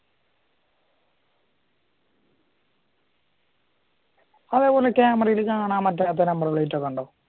അതേപോലെ ക്യാമറയിൽ കാണാൻ പറ്റാത്ത നമ്പർ പ്ലെയിറ്റുകൾ ഉണ്ടാവില്ലേ